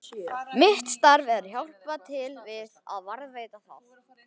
Mitt starf er að hjálpa til við að varðveita það.